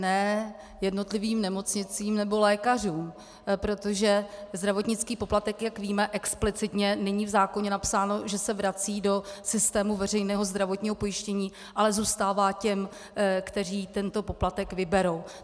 Ne jednotlivým nemocnicím nebo lékařům, protože zdravotnický poplatek, jak víme, explicitně není v zákoně napsáno, že se vrací do systému veřejného zdravotního pojištění, ale zůstává těm, kteří tento poplatek vyberou.